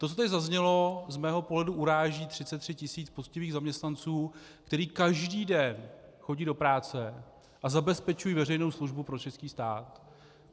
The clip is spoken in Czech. To, co zde zaznělo, z mého pohledu uráží 33 tisíc poctivých zaměstnanců, kteří každý den chodí do práce a zabezpečují veřejnou službu pro český stát.